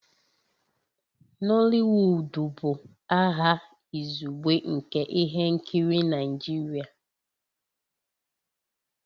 Nooliwudu bụ aha izugbe nke ihe nkiri Naijiria